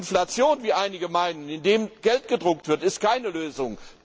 Inflation wie einige meinen, indem Geld gedruckt wird ist keine Lösung.